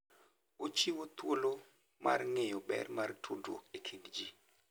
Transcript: Ochiwo thuolo mar ng'eyo ber mar tudruok e kind ji.